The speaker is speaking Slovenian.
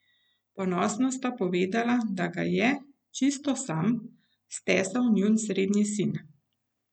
Ponosno sta povedala, da ga je, čisto sam, stesal njun srednji sin.